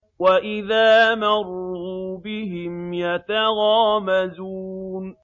وَإِذَا مَرُّوا بِهِمْ يَتَغَامَزُونَ